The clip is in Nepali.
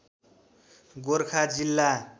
गोरखा जिल्ला